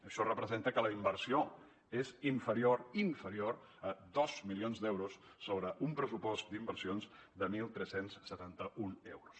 això representa que la inversió és inferior inferior a dos milions d’euros sobre un pressupost d’inversions de tretze setanta u euros